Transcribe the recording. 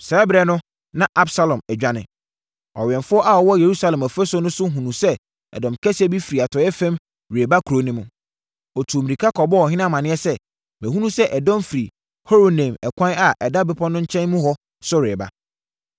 Saa ɛberɛ no, na Absalom adwane. Ɔwɛmfoɔ a ɔwɔ Yerusalem ɔfasuo so no hunuu sɛ ɛdɔm kɛseɛ firi atɔeɛ fam reba kuro no mu. Ɔtuu mmirika kɔbɔɔ ɔhene amaneɛ sɛ, “Mahunu sɛ ɛdɔm firi Horonaim ɛkwan a ɛda bepɔ no nkyɛn mu hɔ no so reba.”